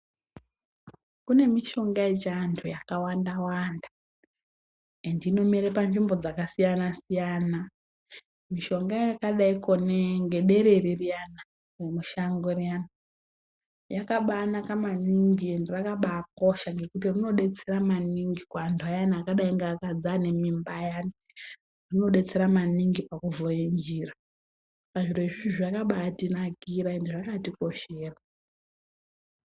Kune mishonga yechi antu yakawanda wanda ende inomera panzvimbo yakasiyana siyana ,mishonga yakadaiko nedere riyani, remushango riyani yakabainaka maningi ,ende rakabaikosha nekuti rinobetsere maningi ,kuantu ayani akadai ngevakadzi vane mimba ayani , rinobetsere maningi pakuvhura nzira pazvinhu izvi zvakabaitinakira ende zvakatikoshera .